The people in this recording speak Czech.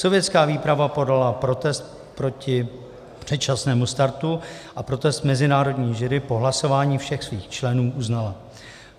Sovětská výprava podala protest proti předčasnému startu a protest mezinárodní jury po hlasování všech svých členů uznala.